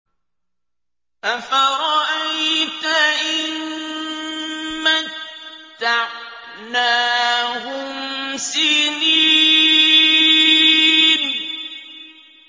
أَفَرَأَيْتَ إِن مَّتَّعْنَاهُمْ سِنِينَ